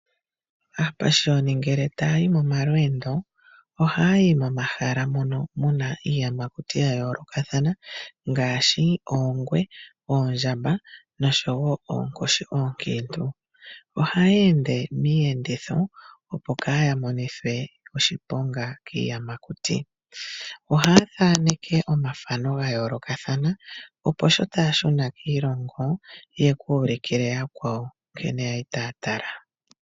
Aapashiyoni ni ngele taa yi momalweendo ohaa yi momahala mono mu na iiyamakuti ya yoolokathana ngaashi: oongwe ,oondjamba nosho woo oonkoshi oonkiintu . Ohaya ende miiyenditho, opo kaa ya monithwe oshiponga kiiyamakuti . Ohaya thaneke omafano ga yoolokathana, opo sho taya shuna kiilongo yayo ,ye kuulukile yakwawo ,nkene ya li taa tala .